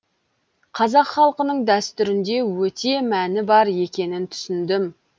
қазақ халқының дәстүрінде өте мәні бар екенін түсіндім